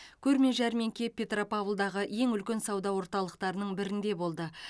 көрме жәрмеңке петропавлдағы ең үлкен сауда орталықтарының бірінде болды